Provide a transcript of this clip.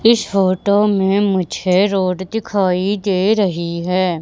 इस फोटो में मुझे रोड दिखाई दे रही है।